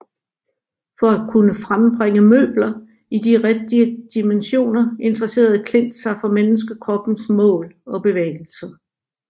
For at kunne frembringe møbler i de rigtige dimensioner interesserede Klint sig for menneskekroppens mål og bevægelser